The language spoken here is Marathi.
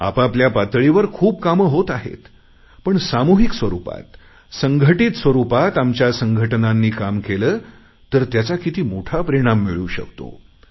आपाआपल्या पातळीवर खूप कामं होत आहेत पण सामुहिक स्वरुपात संघटित स्वरुपात आमच्या संघटनांनी काम केले तर त्याचा किती मोठा परिणाम मिळून शकतो